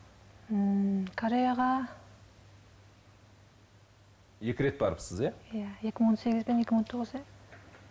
ммм кореяға екі рет барыпсыз иә иә екі мың он сегіз бен екі мың он тоғызда